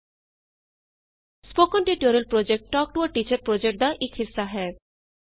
spoken tutorial project talk to a teacher project ਦਾ ਇਕ ਹਿੱਸਾ ਹੈ